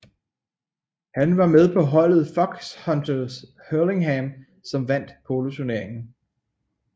Han var med på holdet Foxhunters Hurlingham som vandt poloturneringen